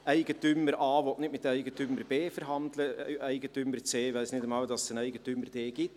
Eigentümer A will nicht mit Eigentümer B verhandeln, Eigentümer C weiss nicht einmal, dass es einen Eigentümer D gibt.